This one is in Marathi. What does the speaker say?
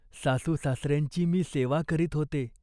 सासूसासऱ्यांची मी सेवा करीत होते.